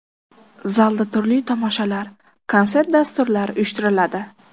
Zalda turli tomoshalar, konsert dasturlari uyushtiriladi.